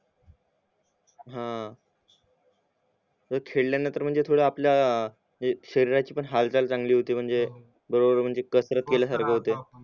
हा खेळल्यानंतर म्हणजे थोडं आपल्या जे शरीराची पण हालचाल चांगली होते म्हणजे कसरत केल्यासारखी होते